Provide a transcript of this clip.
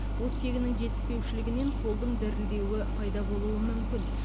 оттегінің жетіспеушілігінен қолдың дірілдеуі пайда болуы мүмкін